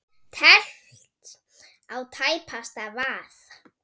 Teflt á tæpasta vað.